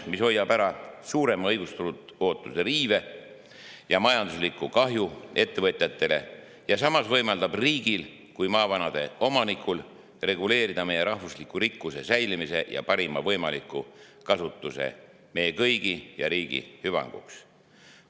See hoiaks ära suurema õigustatud ootuse riive ja majandusliku kahju ettevõtjatele, samas võimaldades riigil kui maavarade omanikul reguleerida meie rahvusliku rikkuse säilimist ja selle parimat võimalikku kasutust meie kõigi ja ka riigi hüvanguks.